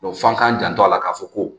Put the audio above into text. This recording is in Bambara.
f'an k'an janto a la k'a fɔ ko